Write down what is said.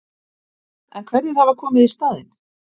En hverjir hafa komið í staðinn?